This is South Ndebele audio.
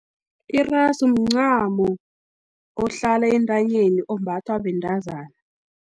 Irasu, mncamo ohlala entanyeni, ombathwa bentazana.